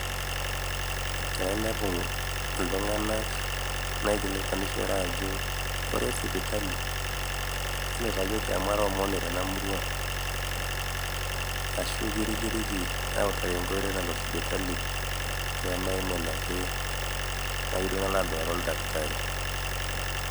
tenainepu iltunganak naikilikuanishore ajo kore sipitali? entutayioki amu aeaa omoni tena murua ashu kirikiriki awutaki enkoitoi nalo sipitali pemaimin ake nayieu duo nalo aduare oldakitari